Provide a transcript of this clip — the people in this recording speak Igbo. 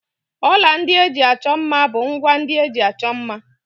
Ọla ndị eji achọ mma bụ ngwá ndị eji achọ mma.